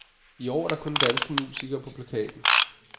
I år er der kun danske musikere på plakaten.